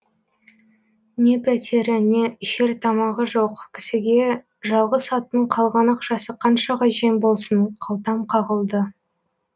не пәтері не ішер тамағы жоқ кісіге жалғыз аттың қалған ақшасы қаншаға жем болсын қалтам қағылды